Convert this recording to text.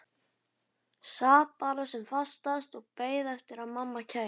Sat bara sem fastast og beið eftir að mamma kæmi.